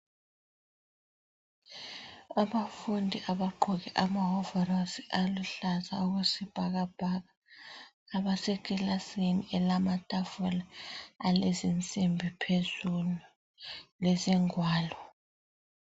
Abafundi abagqoke amawovorosi aluhlaza okwesibhakabhaka, abaseclasini elamatafula alezinsimbi phezulu lezingwalo.